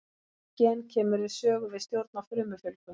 Þetta gen kemur við sögu við stjórn á frumufjölgun.